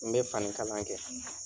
N bɛ fani kalan kɛ.